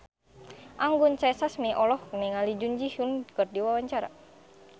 Anggun C. Sasmi olohok ningali Jun Ji Hyun keur diwawancara